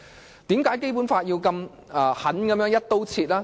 為何《基本法》要如此狠狠地"一刀切"？